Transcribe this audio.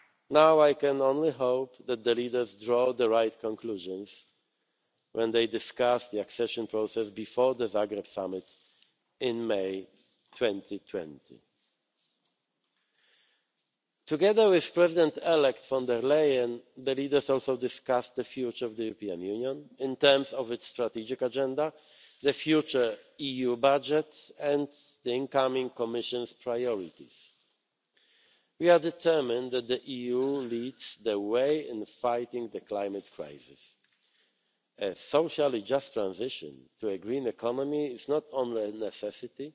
Now I can only hope that the leaders draw the right conclusions when they discuss the accession process before the Zagreb summit in May 2020. Together with Commission President elect von der Leyen, the leaders also discussed the future of the European Union in terms of its strategic agenda, the future EU budget and the incoming Commission's priorities. We are determined that the EU leads the way in fighting the climate crisis. A socially just transition to a green economy is not only a necessity